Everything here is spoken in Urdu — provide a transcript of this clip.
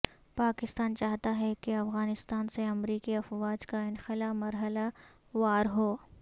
پاکستان چاہتا ہے کہ افغانستان سے امریکی افواج کا انخلا مرحلہ وار ہو